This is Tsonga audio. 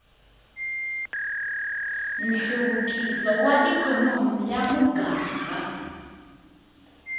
nhluvukiso wa ikhonomi ya muganga